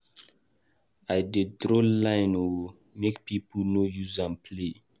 I dey draw line o make pipo no use me play.